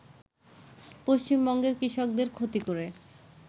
পশ্চিমবঙ্গের কৃষকদের ক্ষতি করে